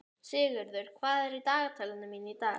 Sigurður, hvað er í dagatalinu mínu í dag?